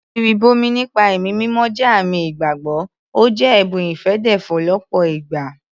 Ìrìbọmi nípa ẹ̀mí mímọ́ jẹ́ àmì ìgbàgbọ́, ó jẹ́ ẹ̀bùn ìfèdèfọ̀ lọ́pọ̀ ìgbà